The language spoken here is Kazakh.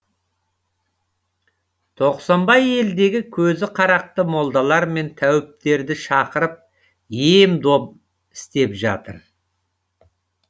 тоқсанбай елдегі көзі қарақты молдалар мен тәуіптерді шақырып ем дом істеп жатыр